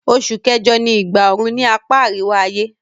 Osù kẹ́jọ ni ìgbà oru ni apá àríwá-ayé